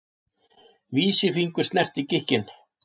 Vísifingur snerti gikkinn.